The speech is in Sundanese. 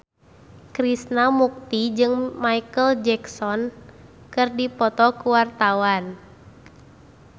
Krishna Mukti jeung Micheal Jackson keur dipoto ku wartawan